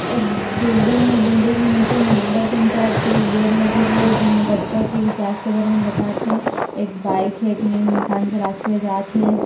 एक बिल्डिंग हे बिल्डिंग के नीचे में नंगर पंचायत के एक बोर्ड लगे हे जेमा बच्चा के विकास के बारे में बतात हे एक बाइक हे एक इंसान चलात हुए जात हे।